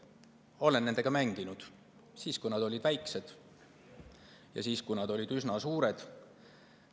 Olen nendega mänginud siis, kui nad olid väikesed, ja siis, kui nad olid üsna suured.